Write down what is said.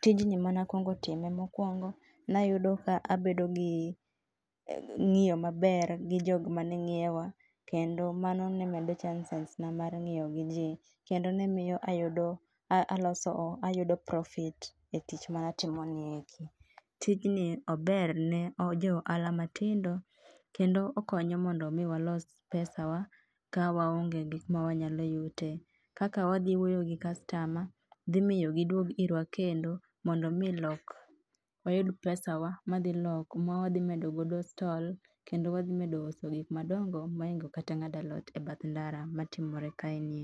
Tijni mane akuongo time mokuongo, ne ayudo ka abedo gi ng'iyo maber gi jok mane ng'iewa kendo mano ne meda chances na mar ng'iyo gi ji kendo ne miyo aloso ayudo profit e tich mane atimoni. Tijni ober ne jo ohala matindo kendo okonyo mondo mi walos pesawa ka waonge gik ma wanyalo yute. Kaka wadhi wuoyo gi customer biro miyo giduog irwa kendo mondo mi lok wayud pesawa ma wadhi medo godo stol kendo wadhi uso gik madongo mohingo kata ng'ado alot e bath ndara matimore kaeni.